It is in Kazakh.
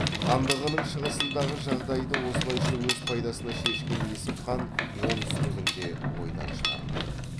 хандығының шығысындағы жағдайды осылайша өз пайдасына шешкен есім хан оңтүстігін де ойдан шығармайды